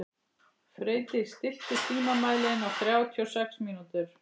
Freydís, stilltu tímamælinn á þrjátíu og sex mínútur.